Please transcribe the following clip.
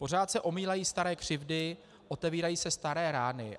Pořád se omílají staré křivdy, otevírají se staré rány.